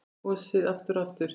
Kosið aftur og aftur?